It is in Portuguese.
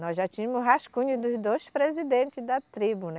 Nós já tínhamos o rascunho dos dois presidentes da tribo, né?